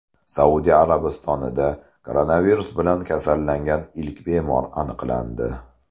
Saudiya Arabistonida koronavirus bilan kasallangan ilk bemor aniqlandi.